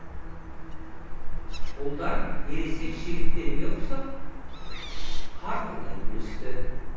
ұлдар ересек жігіттерге ұқсап қарқылдай күлісті